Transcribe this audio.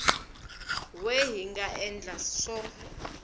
we hi nga endla swo